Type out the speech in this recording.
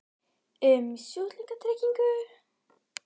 um sjúklingatryggingu?